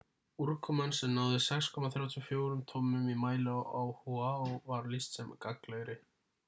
úrkoman sem náði 6.34 tommum í mæli á oahu var lýst sem gagnlegri